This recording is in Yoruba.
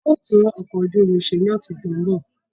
A ó tún ọkọ̀ ojú omi ṣe ní ọ̀sẹ̀ tó ń bọ̀